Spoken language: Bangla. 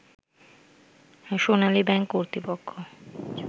সোনালী ব্যাংক কর্তৃপক্ষ